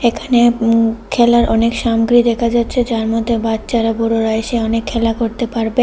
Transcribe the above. এখানে উম খেলার অনেক সামগ্রী দেখা যাচ্ছে যারমধ্যে বাচ্চারা বড়রা এসে অনেক খেলা করতে পারবে।